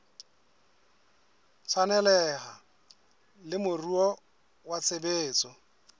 tshwaneleha le moruo wa tshebetso